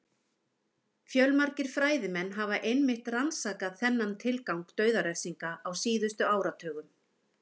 Fjölmargir fræðimenn hafa einmitt rannsakað þennan tilgang dauðarefsinga á síðustu áratugum.